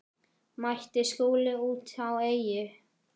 Mætti Skúla úti á Eyjum.